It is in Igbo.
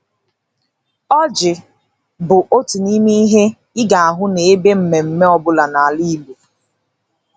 Oji bụ otu n'ime ihe ị ga-ahụ n'ebe mmemme ọ bụla n'ala Igbo.